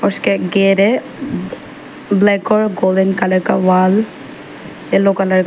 इसके एक गेट है ब्लैक और गोल्डन कलर का वॉल एलो कलर --